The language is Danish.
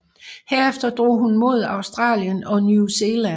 Herefter drog hun mod Australien og New Zealand